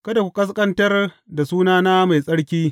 Kada ku ƙasƙantar da sunana mai tsarki.